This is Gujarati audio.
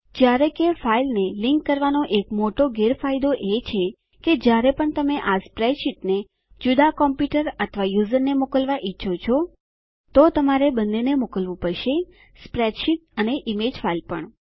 જયારે કે ફાઈલને લીંક કરવાનો એક મોટો ગેરફાયદો એ છે કે જયારે પણ તમે આ સ્પ્રેડશીટને જુદા કોમપ્યુંટર અથવા યુઝરને મોકલવા ઈચ્છો છો તમારે બંનેને મોકલવું પડશે સ્પ્રેડશીટ અને ઈમેજ ફાઈલ પણ